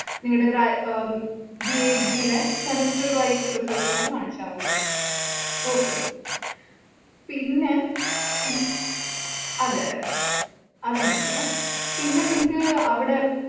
നിങ്ങടെ ഗ്രാ ഉം BA degree ലെ semester wise result ഉം കൂടി കാണിച്ചാല്‍ മതി okay പിന്നെ പി അതെയതെ അത് കാണിക്കണം, പിന്നെ നിങ്ങക്ക് അവിടെ